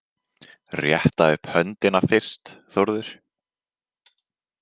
Rétta upp höndina fyrst Þórður.